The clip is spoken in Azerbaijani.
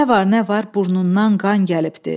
Nə var nə var, burnundan qan gəlibdi.